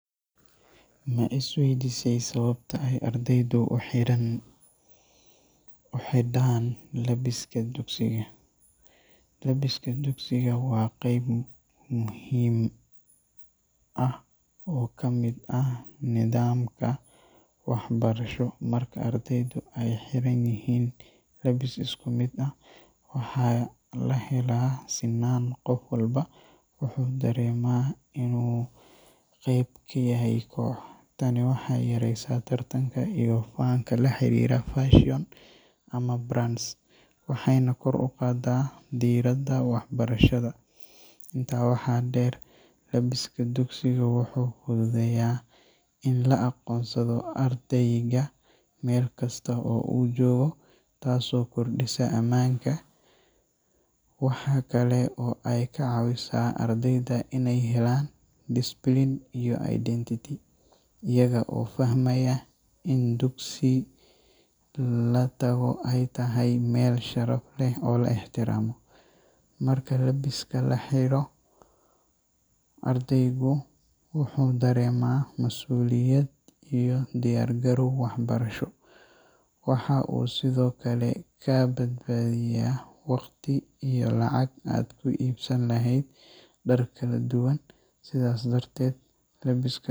Ma isweydiisay sababta ay ardaydu u xiran u xidhaan labiska dugsiga? Labbiska dugsiga waa qayb muhiim ah oo ka mid ah nidaamka waxbarasho. Marka ardaydu ay xiran yihiin labbis isku mid ah, waxaa la helaa sinaan—qof walba wuxuu dareemaa in uu qayb ka yahay koox. Tani waxay yareysaa tartanka iyo faanka la xiriira fashion ama brands, waxayna kor u qaadaa diiradda waxbarashada. Intaa waxaa dheer, labbiska dugsiga wuxuu fududeeyaa in la aqoonsado ardayga meel kasta oo uu joogo, taasoo kordhisa ammaanka. Waxa kale oo ay ka caawisaa ardayda inay helaan discipline iyo identity, iyaga oo fahmaya in dugsi la tago ay tahay meel sharaf leh oo la ixtiraamo. Marka labbiska la xiro, ardaygu wuxuu dareemaa masuuliyad iyo diyaar garow waxbarasho. Waxa uu sidoo kale kaa badbaadiyaa waqti iyo lacag aad ku iibsan lahayd dhar kala duwan. Sidaas darteed, labbiska.